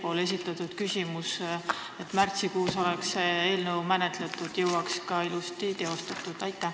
Siin esitati küsimus, milles väideti, et kui märtsikuus saaks see eelnõu menetletud, siis jõuaks selle ka ilusti teostada.